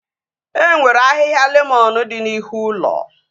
E nwere ahịhịa lemọn dị n'ihu ụlọ